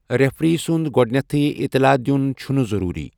Referee سنٛد گۄڈنٮ۪تھٕے اطلاع دِین چھنہٕ ضروٗری۔